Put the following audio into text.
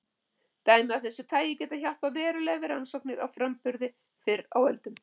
Dæmi af þessu tagi geta hjálpað verulega við rannsóknir á framburði fyrr á öldum.